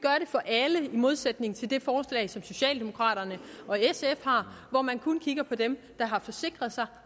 for alle i modsætning til det forslag som socialdemokraterne og sf har hvor man kun kigger på dem der har forsikret sig